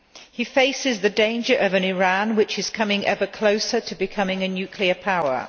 He faces the danger of an Iran which is coming ever closer to being a nuclear power.